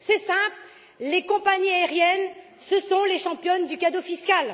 C'est simple, les compagnies aériennes sont les championnes du cadeau fiscal.